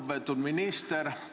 Lugupeetud minister!